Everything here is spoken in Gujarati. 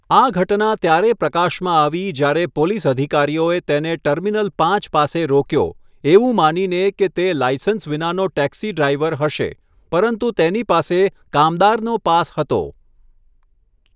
આ ઘટના ત્યારે પ્રકાશમાં આવી જ્યારે પોલીસ અધિકારીઓએ તેને ટર્મિનલ પાંચ પાસે રોક્યો, એવું માનીને કે તે લાઇસન્સ વિનાનો ટેક્સી ડ્રાઈવર હશે, પરંતુ તેની પાસે કામદારનો પાસ હતો.